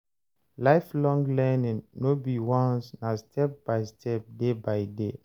Lifelong learning no be once na step by step, day by day